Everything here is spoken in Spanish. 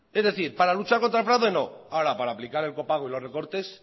es decir para luchar contra el fraude no ahora para aplicar el copago y los recortes